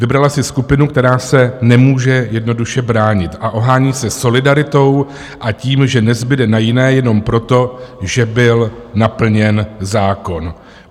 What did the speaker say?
Vybrala si skupinu, která se nemůže jednoduše bránit, a ohání se solidaritou a tím, že nezbude na jiné jenom proto, že byl naplněn zákon.